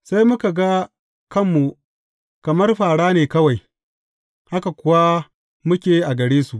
Sai muka ga kanmu kamar fāra ne kawai, haka kuwa muke a gare su.